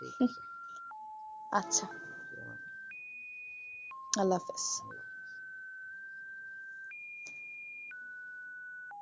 আচ্ছা। আল্লাহ হাফিজ।